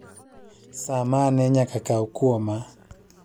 saa mane nyaka kao kwoma